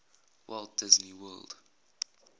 walt disney world